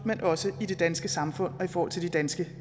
men også i det danske samfund og i forhold til de danske